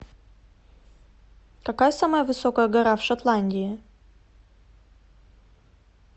какая самая высокая гора в шотландии